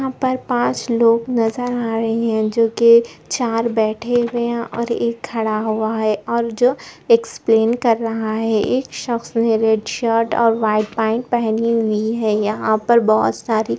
यहां पर पाँच लोग नजर आ रहे है जो कि चार बैठे हुए है और एक खड़ा हुआ है और जो एक्सप्लेन कर रहा है एक शख्स ने रेड शर्ट और व्हाइट पेन्ट पहनी हुई है यहां पर बहुत सारी --